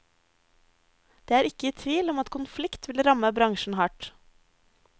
Det er ikke tvil om at konflikt vil ramme bransjen hardt.